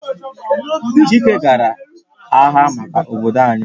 Chike gara agha maka obodo anyi